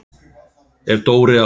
Ef Dóri á